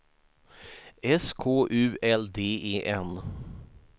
S K U L D E N